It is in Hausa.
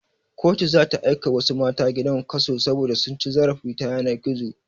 Kotu zata aika wasu matasa gidan kaso saboda cin zarafi ta yanar gizo